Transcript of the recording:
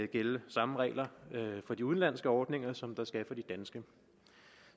gælde samme regler for de udenlandske ordninger som der skal for de danske